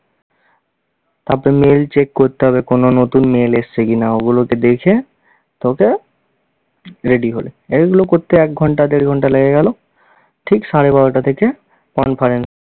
তারপরে mail check করতে হবে, কোনো নতুন mail এসছে কি-না ওগুলোকে দেখে তোকে ready হলে। এগুলো করতে এক ঘন্টা দেড় ঘন্টা লেগে গেল ঠিক সাড়ে বারোটা থেকে conferen~